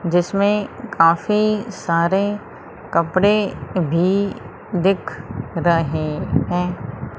जिसमे काफी सारे कपड़े भी दिख रहे हैं।